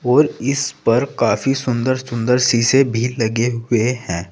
और इस पर काफी सुंदर सुंदर सीसे भी लगे हुए हैं।